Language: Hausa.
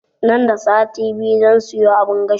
Nan da sati biyu zan siyo abun gashi